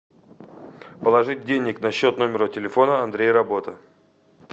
положить денег на счет номера телефона андрей работа